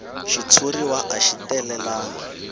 xitshuriwa a xi talelangi